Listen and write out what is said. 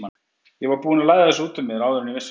Ég var búinn að læða þessu út úr mér áður en ég vissi af.